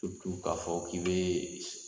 K'a fɔ k'i bɛ